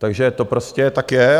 Takže to prostě tak je.